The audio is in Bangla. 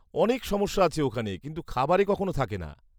-অনেক সমস্যা আছে ওখানে, কিন্তু খাবারে কখনো থাকে না।